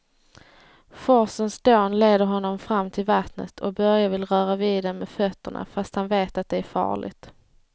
Forsens dån leder honom fram till vattnet och Börje vill röra vid det med fötterna, fast han vet att det är farligt.